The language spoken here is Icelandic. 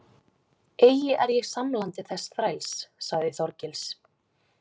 Eigi er ég samlandi þess þræls, sagði Þorgils.